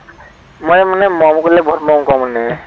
মই মানে মৰম কৰিলে বহুত মৰম কৰো মানে